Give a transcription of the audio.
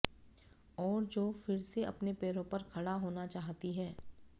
और जो फिर से अपने पैरों पर खड़ा होना चाहती हैं